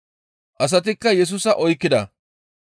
Asatikka Yesusa oykkida.